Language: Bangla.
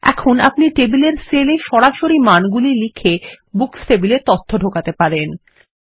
এখন আপনি টেবিলের সেলে সরাসরি মানগুলি লিখে বুকস টেবিলে তথ্য ঢোকাতে পারেন